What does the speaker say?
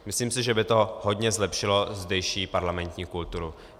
Myslím si, že by to hodně zlepšilo zdejší parlamentní kulturu.